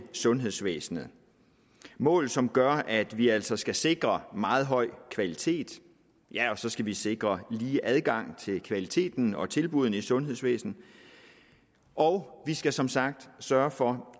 sundhedsvæsenet mål som gør at vi altså skal sikre meget høj kvalitet ja og så skal vi sikre lige adgang til kvaliteten og tilbuddene i sundhedsvæsenet og vi skal som sagt sørge for